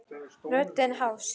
Röddin hás.